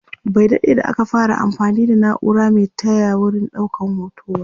Bai daɗe da aka fara anfani da naura Mai taya wurin ɗaukan hoto ba